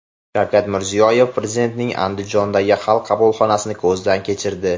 Shavkat Mirziyoyev Prezidentning Andijondagi Xalq qabulxonasini ko‘zdan kechirdi.